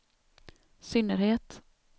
synnerhet